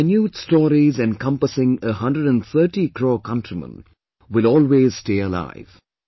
These minute stories encompassing a 130 crore countrymen will always stay alive